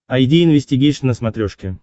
айди инвестигейшн на смотрешке